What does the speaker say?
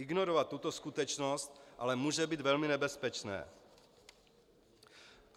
Ignorovat tuto skutečnost ale může být velmi nebezpečné.